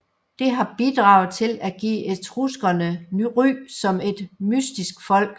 Det har bidraget til at give etruskerne ry som et mystisk folk